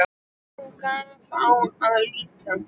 Og nú gaf á að líta.